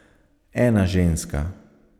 Ena ženska.